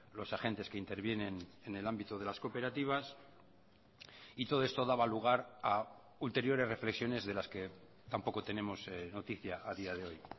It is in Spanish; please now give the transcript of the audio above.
los agentes que intervienen en el ámbito de las cooperativas y todo esto daba lugar a ulteriores reflexiones de las que tampoco tenemos noticia a día de hoy